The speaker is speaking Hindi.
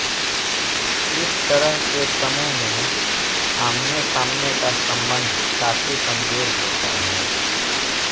इस तरह के समूह में आमनेसामने का सम्बन्ध काफी कमजोर होता है